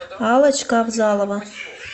аллочка авзалова